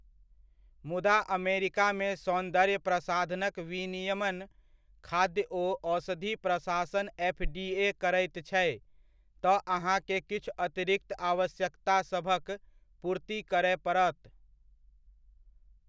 मुदा अमेरिकामे सौन्दर्य प्रसाधनक विनियमन खाद्य ओ औषधि प्रशासन एफ.डी.ए. करैत छै, तऽ अहाँकेँ किछु अतिरिक्त आवश्यकतासभक पूर्ति करय पड़त।